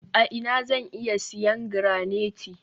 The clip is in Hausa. a ina zan iya siyan garanite?